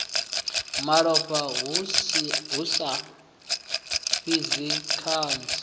malofha hu sa fhidzi kanzhi